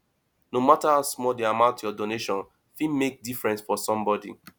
no matter how small the amount your donation fit make difference for somebody